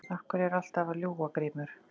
Af hverju ertu alltaf að ljúga Grímur?